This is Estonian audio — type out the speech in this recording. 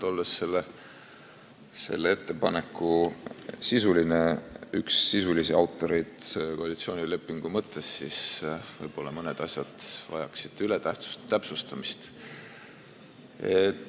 Olen selle ettepaneku üks sisulisi autoreid koalitsioonilepingu mõttes ja võib-olla vajavad mõned asjad täpsustamist.